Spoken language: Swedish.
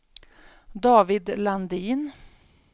David Landin